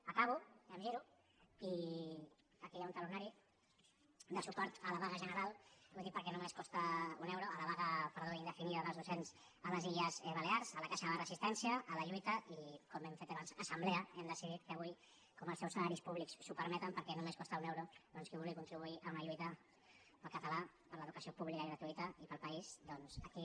acabo em giro i aquí hi ha un talonari de suport a la vaga indefinida ho dic perquè només costa un euro dels docents a les illes balears a la caixa de resistència a la lluita i com que hem fet abans assemblea hem decidit que avui com que els seus salaris públics ho permeten perquè només costa un euro doncs qui vulgui contribuir a una lluita per al català per a l’educació pública i gratuïta i per al país doncs aquí